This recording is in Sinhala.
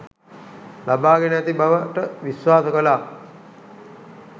ලබාගෙන ඇති බවට විශ්වාස කළා